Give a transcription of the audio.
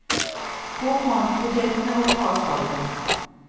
Kok mandelpotetene og ta av skallet.